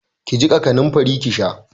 Ki jiƙa kanamfari ki sha.